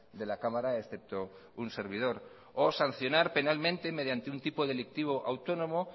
de la cámara excepto un servidor o sancionar penalmente mediante un tipo delictivo autónomo